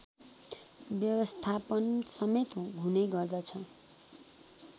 व्यवस्थापनसमेत हुने गर्दछ